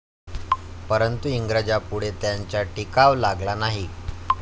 परंतु इंग्रजांपूढे त्यांचा टिकाव लागला नाही.